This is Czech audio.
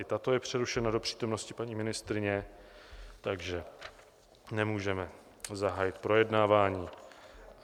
I tato je přerušena do přítomnosti paní ministryně, takže nemůžeme zahájit projednávání.